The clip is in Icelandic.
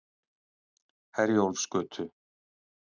Herjólfsgötu